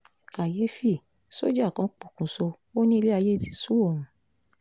kàyééfì sójà kan pokùṣọ̀ ó ní ilẹ̀ ayé ti sú òun